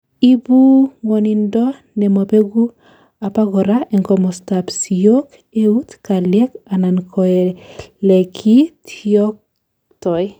ibu ngwonindo nemobeku, abakora en komostab siyook, eut, keliek anan koelekityektoi